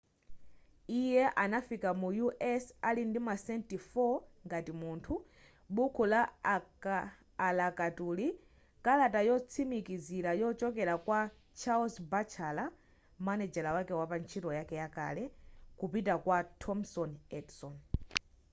iye anafika mu us ali ndi masenti 4 ngati munthu buku la alakatuli kalata yotsimikizira yochokera kwa charles batchelor manejala wake pantchito yake yakale kupita kwa thomas edison